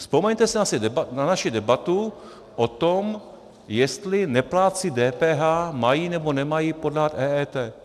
Vzpomeňte si na naši debatu o tom, jestli neplátci DPH mají nebo nemají podat EET.